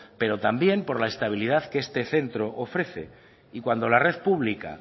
pero también por la estabilidad que este centro ofrece y cuando la red pública